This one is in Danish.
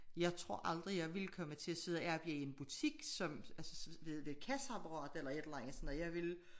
Jeg tror aldrig jeg ville komme til at sidde arbejde i en butik som altså ved kasseapparatet eller et eller andet sådan noget jeg ville